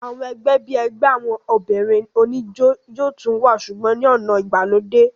àwọn ẹgbẹ́ bíi ẹgbẹ́ àwọn obìnrin oníjó yóò tún wà sùgbọ́n ní ọ̀nà ìgbàlódé